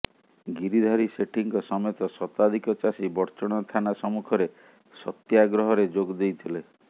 ଗିରିଧାରୀ ସେଠୀଙ୍କ ସମେତ ଶତାଧିକ ଚାଷୀ ବଡ଼ଚଣା ଥାନା ସମ୍ମୁଖରେ ସତ୍ୟାଗ୍ରହରେ ଯୋଗଦେଇଥିଲେ